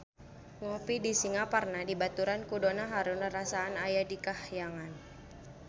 Ngopi di Singaparna dibaturan ku Donna Harun rarasaan aya di kahyangan